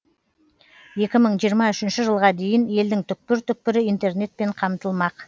екі мың жиырма үшінші жылға дейін елдің түкпір түкпірі интернетпен қамтылмақ